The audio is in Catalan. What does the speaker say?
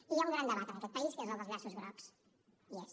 i hi ha un gran debat en aquest país que és dels llaços grocs hi és